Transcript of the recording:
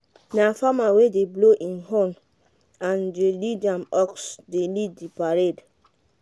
na farmer wey dey blow him horn and dey lead him ox dey lead the parade.